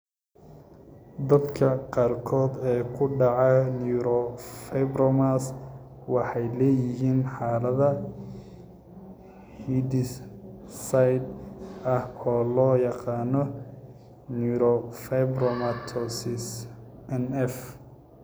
Dadka qaarkood ee ku dhaca neurofibromas waxay leeyihiin xaalad hidde-side ah oo loo yaqaan neurofibromatosis (NF).